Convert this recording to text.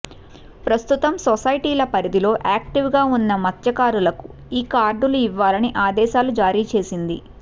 ప్రస్తుతం సొసైటీల పరిధిలో యాక్టివ్గా ఉన్న మత్స్యకారులకు ఈ కార్డులు ఇవ్వాలని ఆదేశాలు జారీ చేసింది